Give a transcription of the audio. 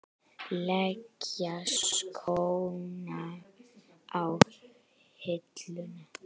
Leggja skóna á hilluna?